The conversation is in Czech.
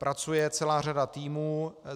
Pracuje celá řada týmů.